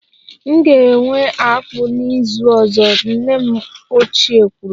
M ga-ewe akpu n'izu ọzọ, nne m ochie kwuru.